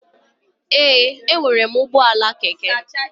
Ee, a enwere m ụgbọala keke.